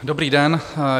Dobrý den.